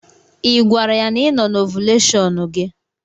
Ị gwara ya na ị no na ovuleshon gi?